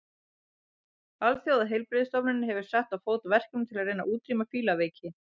Alþjóðaheilbrigðisstofnunin hefur sett á fót verkefni til að reyna að útrýma fílaveiki.